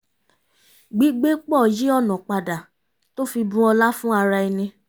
gbígbé pọ̀ yí ọ̀nà padà tó fi bù ọlá fún ara ẹni